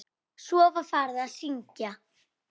Svo var farið að syngja.